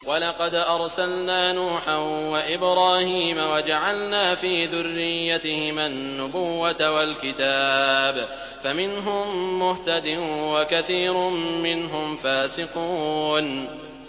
وَلَقَدْ أَرْسَلْنَا نُوحًا وَإِبْرَاهِيمَ وَجَعَلْنَا فِي ذُرِّيَّتِهِمَا النُّبُوَّةَ وَالْكِتَابَ ۖ فَمِنْهُم مُّهْتَدٍ ۖ وَكَثِيرٌ مِّنْهُمْ فَاسِقُونَ